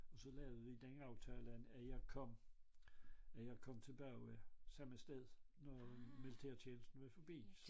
Og så lavede vi den aftale at jeg kom at jeg kom tilbage samme sted når militærtjenesten var forbi